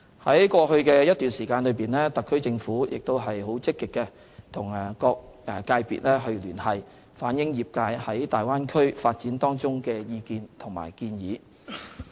在過去一段時間，特區政府積極與各個界別聯繫，反映業界對大灣區發展的意見和建議。